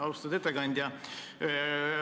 Austatud ettekandja!